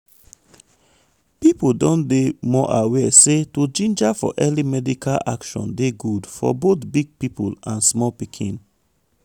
people don dey dey more aware say to ginger for early medical action dey good for both big people and small pikin.